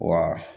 Wa